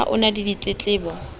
ha ho na le ditletlebo